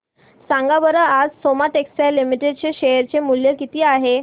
सांगा बरं आज सोमा टेक्सटाइल लिमिटेड चे शेअर चे मूल्य किती आहे